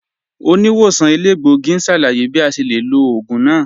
Oníwòsàn èlégbògì n ṣálàyé bí à ṣe lè lọ̀ oogun náà